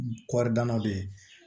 Kɔri dannaw bɛ yen